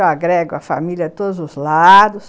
Eu agrego a família de todos os lados.